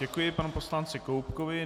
Děkuji panu poslanci Koubkovi.